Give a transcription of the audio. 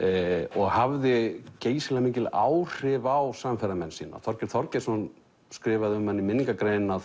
og hafði geysilega mikil áhrif á samferðamenn sína Þorgeir Þorgeirsson skrifaði um hann í minningargrein að